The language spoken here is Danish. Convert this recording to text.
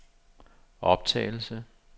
optagelse